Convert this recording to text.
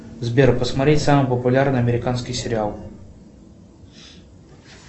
сбер посмотреть самый популярный американский сериал